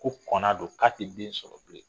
Ko kɔna don k'a tɛ den sɔrɔ bilen